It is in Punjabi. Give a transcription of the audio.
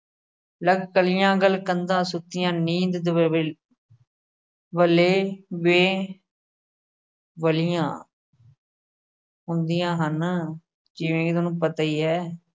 ਲੱਗ ਕਲੀਆਂ ਗਲ ਕੰਧਾ ਸੁਕੀਆਂ। ਨੀਂਦ ਦਵੇਲ ਵੇਲੈ ਵੇ ਵਲੀਆਂ ਹੁੰਦੀਆਂ ਹਨ। ਜਿਵੇ ਕਿ ਤੁਹਾਨੂੰ ਪਤਾ ਹੀ ਹੈ।